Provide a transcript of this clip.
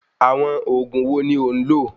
Àwọn òògùn wo ni ò ń lò?